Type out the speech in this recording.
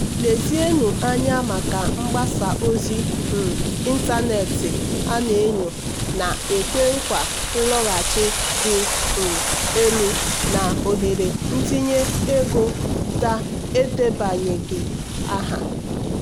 "lezienụ anya maka mgbasa ozi um ịntanetị a na-enyo na-ekwe nkwa nloghachi dị um elu na ohere itinye ego edebanyeghị aha."